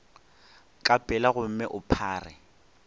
ka pela gomme o phare